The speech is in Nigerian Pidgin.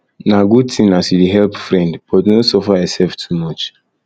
na good tin as you dey help friend but no suffer yoursef too much